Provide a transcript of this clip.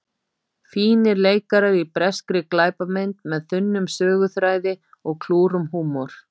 Fínir leikarar í breskri glæpamynd með þunnum söguþræði og klúrum húmor.